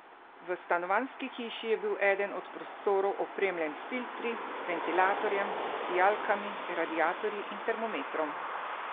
V stanovanjski hiši je bil eden od prostorov opremljen s filtri, ventilatorjem, sijalkami, radiatorji in termometrom.